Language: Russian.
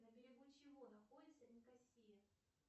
на берегу чего находится никосия